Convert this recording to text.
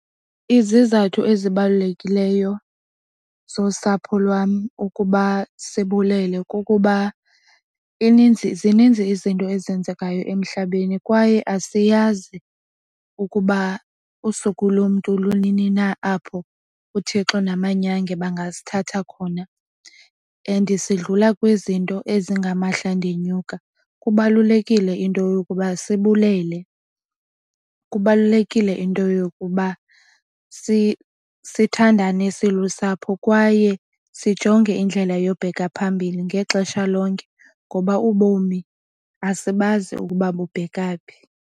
Izizathu ezibalulekileyo zosapho lwam ukuba sibulele kukuba ininzi, zininzi izinto ezenzekayo emhlabeni kwaye asiyazi ukuba usuku lomntu lunini na apho uThixo namanyange bangasithatha khona. And sidlula kwizinto ezingamandla ndinyuka. Kubalulekile into yokuba sibulele, kubalulekile into yokuba sithandane silusapho kwaye sijonge indlela yobheka phambili ngexesha lonke ngoba ubomi asibazi ukuba kubheka phi.